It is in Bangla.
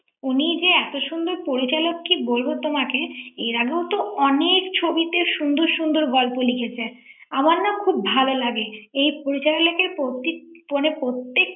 উনি যে এত সুন্দর পরিচালক কি বলবো তোমাকে এর আগেও তো অনেক ছবিতে সুন্দর সুন্দর গল্প লিখেছেন আমার না খুব ভালো লাগে এই পরিচালকের প্রত্যেকটি মানে প্রত্যেকটি ৷